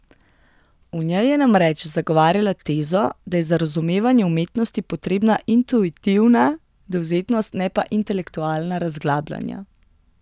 V njej je namreč zagovarjala tezo, da je za razumevanje umetnosti potrebna intuitivna dovzetnost, ne pa intelektualna razglabljanja.